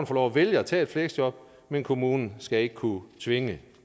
få lov at vælge at tage et fleksjob men kommunen skal ikke kunne tvinge